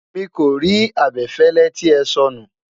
miko rí abefele tí é sọnu